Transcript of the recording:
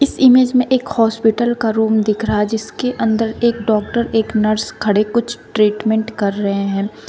इस इमेज में एक हॉस्पिटल का रूम दिख रहा है जिसके अंदर एक डॉक्टर एक नर्स खड़े कुछ ट्रीटमेंट कर रहे हैं।